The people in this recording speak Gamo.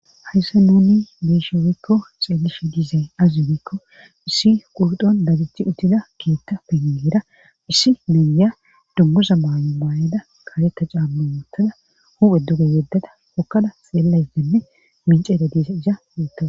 hayssa nouni beshubikko xeelishi diizay azubikko issi qurdon dagichi utida keetta pengeera issi nayya dunmusa maayo maayeda kaasetta caammu moottada huphe duge yeddada wokkada xeellaydenne minceeda diisa iha yuuttaa